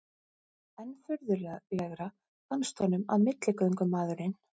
Enn furðulegra fannst honum að milligöngumaðurinn